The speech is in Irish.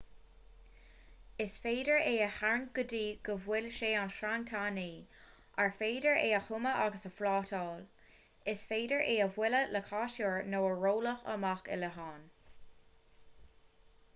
is féidir é a tharraingt go dtí go bhfuil sé ina sreang tanaí ar féidir é a thumadh agus a phlátáil is féidir é a bhualadh le casúr nó a rolladh amach i leatháin